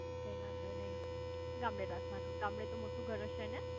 કઈ વાંધો નાઈ ગામડે રાખવાનું. ગામડે તો મોટુ ઘર હશે ને?